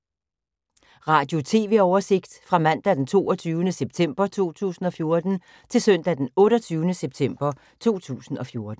Radio/TV oversigt fra mandag d. 22. september 2014 til søndag d. 28. september 2014